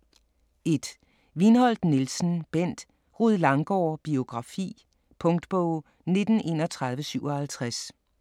1. Viinholt Nielsen, Bendt: Rued Langgaard: biografi Punktbog 193157